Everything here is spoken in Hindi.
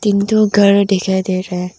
एक दो घर दिखाई दे रहा है।